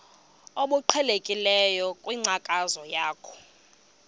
obuqhelekileyo kwinkcazo yakho